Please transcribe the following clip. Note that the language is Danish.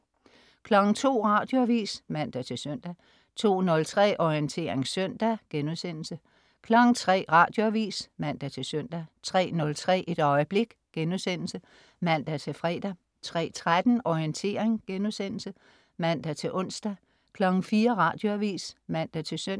02.00 Radioavis (man-søn) 02.03 Orientering søndag* 03.00 Radioavis (man-søn) 03.03 Et øjeblik* (man-fre) 03.13 Orientering* (man-ons) 04.00 Radioavis (man-søn)